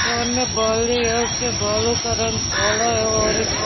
कान में बाली है उसके बालों का रंग काला है और एक अ--